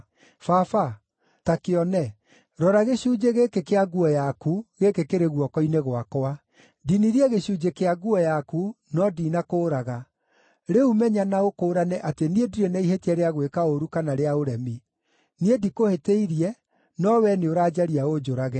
Baba, ta kĩone, rora gĩcunjĩ gĩkĩ kĩa nguo yaku, gĩkĩ kĩrĩ guoko-inĩ gwakwa! Ndinirie gĩcunjĩ kĩa nguo yaku, no ndinakũũraga. Rĩu menya na ũkũũrane atĩ niĩ ndirĩ na ihĩtia rĩa gwĩka ũũru kana rĩa ũremi. Niĩ ndikũhĩtĩirie, no wee nĩũranjaria ũnjũrage.